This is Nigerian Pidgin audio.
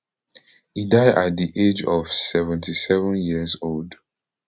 e die at di age of seventy-sevenyearsold